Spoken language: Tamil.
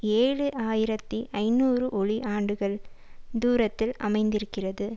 ஏழு ஆயிரத்தி ஐநூறு ஒளி ஆண்டுகள் தூரத்தில் அமைந்திருக்கிறது